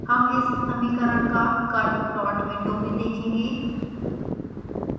हम इस समीकरण का कर्व प्लॉट विंडो में देखेंगे